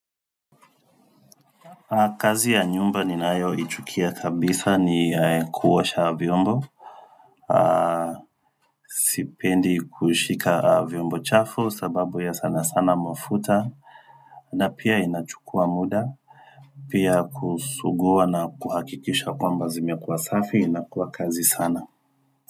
Kazi ya nyumba ninayoichukia kabisa ni kuosha vyombo Sipendi kushika vyombo chafu sababu ya sana sana mafuta na pia inachukua muda Pia kusugua na kuhakikisha kwamba zimekuwa safi inakuwa kazi sana.